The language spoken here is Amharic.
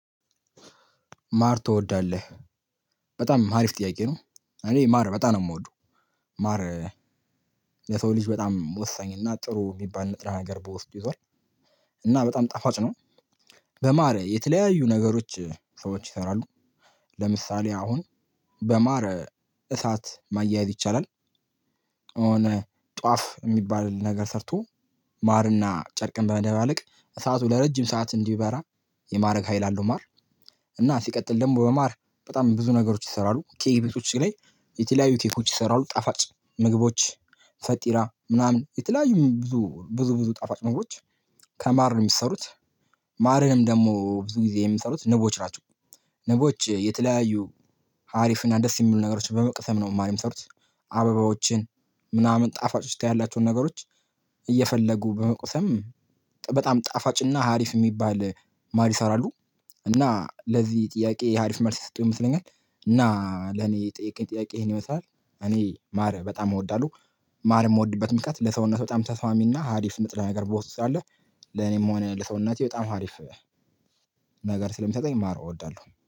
ማር ትወዳለህ? በጣም አሪፍ ጥያቄ ነው። እኔ ማር በጣም ነው የምወደው። ማር የሰው ልጅ በጣም ወሳኝ እና ጥሩ የሚባል ንጥረ ነገር በውስጡ ይዟል። እና በጣም ጣፋጭ ነው። በማር የተለያዩ ነገሮች ሰዎች ይሰራሉ። ለምሳሌ አሁን በማር እሳት ማያያዝ ይቻላል። እኔ ጧፍ የሚባል ነገር ሰርቶ ማርና ጨርቅን በመደባለቅ እሳቱ ለረጅም ሰዓት እንዲበራ የማድረግ ሀይል አለው። ማር እና ሲቀጥል ደግሞ በማር በጣም ብዙ ነገሮች ይሰራሉ። ኬክ ቤቶች ላይ የተለያዩ ኬኮች ይሰራሉ ጣፋጭ ምግቦች ፈጢራ ምናምን የተለያዩ ብዙ ብዙ ብዙ ጣፋጭ ምግቦች ከማር ነው የሚሰሩት። ማርንም ደግሞ ብዙ ጊዜ የሚሰሩት ንቦች ናቸው። ንቦች የተለያዩ ሀሪፍና ደስ የሚሉ ነገሮችን በመቅሰም ነው ማር የሚሰሩት። አበባዎችን ምናምን ጣፋጮች ያላቸውን ነገሮች እየፈለጉ በመቅሰም በጣም ጣፋጭና ሀሪፍ የሚባል ማር ይሰራሉ። እና ለዚህ ጥያቄ ሀሪፍ መልስ የሰጠው ይመስለኛል። እና ለኔ የጠየከኝ ጥያቄ ይሄን ይመስላል። እኔ ማር በጣም እወዳለሁ። ማር የምወድበት ምክንያት ለሰውነት በጣም ተስማሚና ሀሪፍ ንጥረ ነገር በውስጡ ስላለ። ለኔም ሆነ ለሰውነቴ በጣም አሪፍ ነገር ስለሚሰጠኝ ማር እወዳለሁ